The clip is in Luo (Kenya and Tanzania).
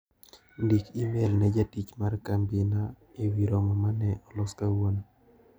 Ndiki imel ne jatich mar kambi na ewi romo mane olos kawuono.